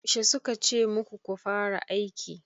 Yaushe suka ce muku ku fara aiki?